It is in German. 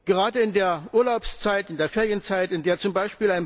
Gerade in der Urlaubszeit, in der Ferienzeit, in der z. B.